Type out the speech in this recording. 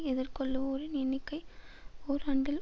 எதிர்கொள்ளுவோரின் எண்ணிக்கை ஓராண்டில்